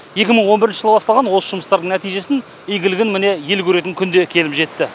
екі мың он бірінші жылы басталған осы жұмыстардың нәтижесін игілігін міне ел көретін күн де келіп жетті